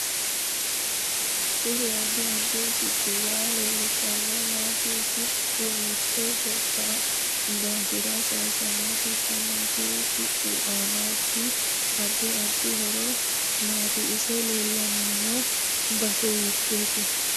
Kuri addi addi siccuwa leelishanori maati siccu mitte gobba daafira sayiisanno sokka maati siccu aanoti addi addi horo maati isi leelanno base hiitoote